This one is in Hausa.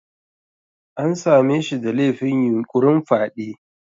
An same shi da laifin yunƙurin fyade.